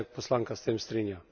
Ali se poslanka s tem strinja?